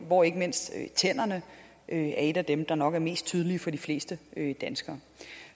hvor ikke mindst tænderne er et af dem der nok er mest tydelige for de fleste danskere